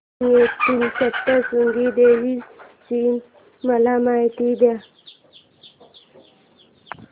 वणी येथील सप्तशृंगी देवी ची मला माहिती दे